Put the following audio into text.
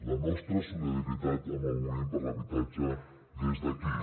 la nostra solidaritat amb el moviment per l’habitatge des d’aquí